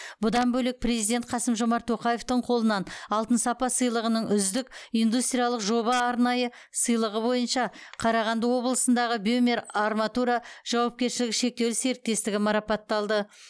бұдан бөлек президент қасым жомарт тоқаевтың қолынан алтын сапа сыйлығының үздік индустриялық жоба арнайы сыйлығы бойынша қарағанды облысындағы бемер арматура жауапкершілігі шектеулі серіктестігі марапат алды